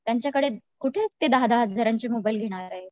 त्यांच्या कडे कुठे ते दहा दहा हजारांचे मोबाइल घेणारे